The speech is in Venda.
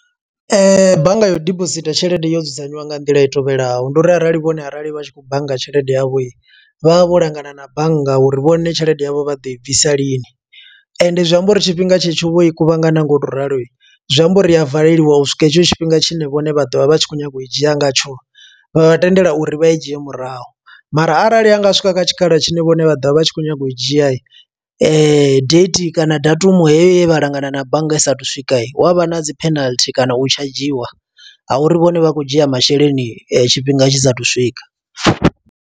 Bannga yo u dibositha tshelede yo dzudzanywa nga nḓila i tevhelaho. Ndi uri arali vhone arali vha tshi khou bannga tshelede yavho, vha vha vho langana na bannga uri vhone tshelede yavho vha ḓo i bvisa lini. Ende zwi amba uri tshifhinga tshe tsho vho i kuvhangana nga u to ralo, zwi amba uri a valeliwa u swika hetsho tshifhinga tshine vhone vha ḓovha vha tshi khou nyanga u i dzhia ngatsho. Vha vha tendela uri vha i dzhie murahu, mara arali hanga swika kha tshikhala tshine vhone vha ḓovha vha tshi khou nyaga u dzhia, date kana datumu heyo ye vha langana na bannga i saathu u swika. Hu avha na dzi penalty kana u tshadzhiwa ha uri vhone vha khou dzhia masheleni tshifhinga tshi sathu swika.